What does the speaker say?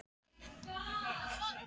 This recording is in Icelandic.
Þá ákveður forsetinn að slá á þráðinn til